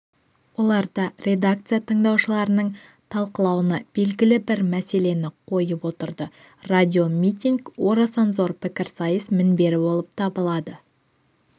оларда редакция тыңдаушылардың талқылауына белгілі бір мәселені қойып отырды радиомитинг орасан зор пікірсайыс мінбері болып табылады